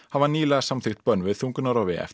hafa nýlega samþykkt bönn við þungunarrofi eftir